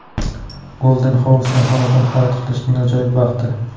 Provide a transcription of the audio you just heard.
Golden House’dan xonadon xarid qilishning ajoyib vaqti!.